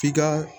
F'i ka